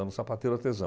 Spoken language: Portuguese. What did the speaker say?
Era um sapateiro artesão.